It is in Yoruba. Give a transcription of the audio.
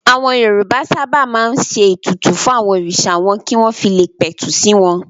Àwọn Yorùbá sábà máa ń ṣe ètùtù fún àwọn òrìṣà wọn kí wọ́n fi le pẹ̀tù sí wọn.